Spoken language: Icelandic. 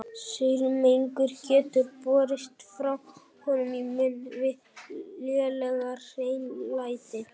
Saurmengun getur borist frá höndum í munn við lélegt hreinlæti.